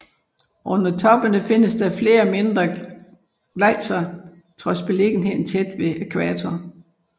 Under toppene findes flere mindre gletsjere trods beliggenheden tæt ved ækvator